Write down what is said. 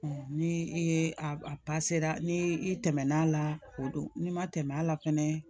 ni i ye a ni i tɛmɛn'a la o don n'i ma tɛmɛ a la fɛnɛ